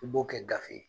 I b'o kɛ gafe ye